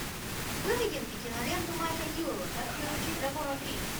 выведи мне киноленту майка ньюэлла как приручить дракона три